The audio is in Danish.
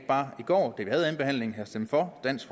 bare i går da vi havde anden behandling have stemt for dansk